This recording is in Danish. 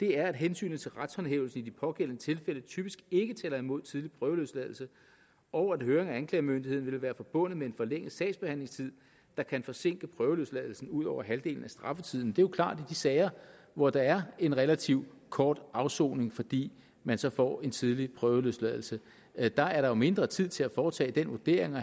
er at hensynet til retshåndhævelsen i de pågældende tilfælde typisk ikke taler imod tidlig prøveløsladelse og at høring af anklagemyndigheden vil være forbundet med en forlænget sagsbehandlingstid der kan forsinke prøveløsladelsen ud over halvdelen af straffetiden det er jo klart at de sager hvor der er en relativt kort afsoning fordi man så får en tidlig prøveløsladelse er der er der mindre tid til at foretage den vurdering og